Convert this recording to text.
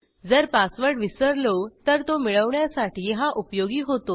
जर पासवर्ड विसरलो तर तो मिळवण्यासाठी हा उपयोगी होतो